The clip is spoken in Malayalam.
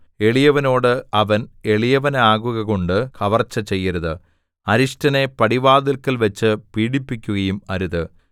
എളിയവനോട് അവൻ എളിയവനാകുകകൊണ്ട് കവർച്ച ചെയ്യരുത് അരിഷ്ടനെ പടിവാതില്ക്കൽവച്ചു പീഡിപ്പിക്കുകയും അരുത്